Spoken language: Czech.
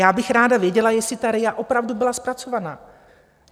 Já bych ráda věděla, jestli ta RIA opravdu byla zpracovaná.